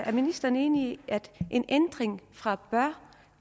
er ministeren enig i at en ændring fra bør